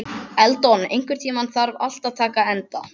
Eldon, einhvern tímann þarf allt að taka enda.